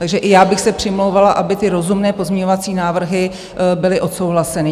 Takže i já bych se přimlouvala, aby ty rozumné pozměňovací návrhy byly odsouhlaseny.